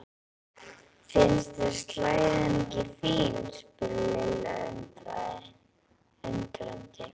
Finnst þér slæðan ekki fín? spurði Lilla undrandi.